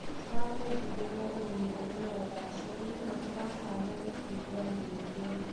Tũrakũendithĩria ũrĩmi ũrĩ na ũgaacĩru na tũratanya gũkũigua rĩngĩ.